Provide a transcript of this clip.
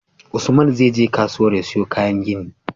Usman zai je kasuwar ya siyo kayan gini